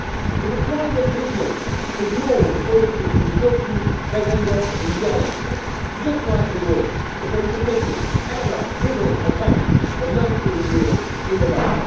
If a private business ignored auditors' instructions, they would end up in jail, just like they would if they submitted error riddled accounts for 19 years in a row.